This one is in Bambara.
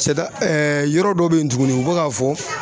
Sɛda yɔrɔ dɔ bɛ yen tuguni u bɛ k'a fɔ